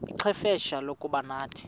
ixfsha lokuba nathi